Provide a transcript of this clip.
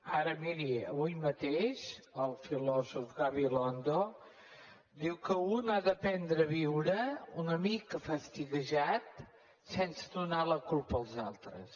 ara miri avui mateix el filòsof gabilondo diu que un ha d’aprendre a viure una mica fastiguejat sense donar la culpa als altres